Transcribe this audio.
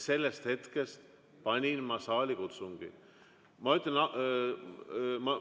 Sellest hetkest panin ma saalikutsungi käima.